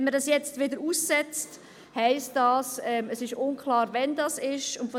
Wenn man dies jetzt wieder aussetzt, heisst das, es ist unklar, wann das geschieht.